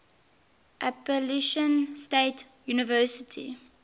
appalachian state university